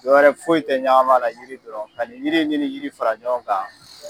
Dɔwɛrɛ foyi in tɛ ɲama la yiri dɔrɔn, ka nin yiri ni yiri fara ɲɔgɔn kan.